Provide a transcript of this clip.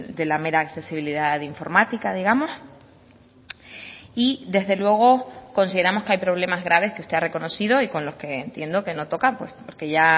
de la mera accesibilidad de informática digamos y desde luego consideramos que hay problemas graves que usted ha reconocido y con lo que entiendo que no tocan porque ya